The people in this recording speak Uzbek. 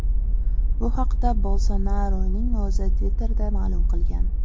Bu haqda Bolsonaruning o‘zi Twitter’da ma’lum qilgan.